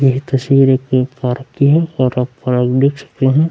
ये तस्वीर एक एक पार्क की हैऔर आप पार्क देख सकते हैं।